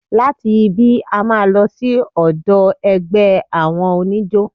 Láti ibí, a máa lọ sí ọ̀dọ̀ ẹgbẹ́ àwọn oníjó.